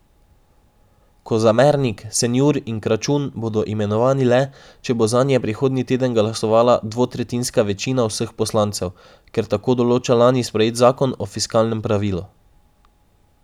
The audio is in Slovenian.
Kozamernik, Senjur in Kračun bodo imenovani le, če bo zanje prihodnji teden glasovala dvotretjinska večina vseh poslancev, ker tako določa lani sprejet zakon o fiskalnem pravilu.